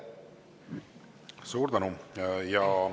Suur tänu!